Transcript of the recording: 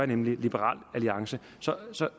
nemlig liberal alliance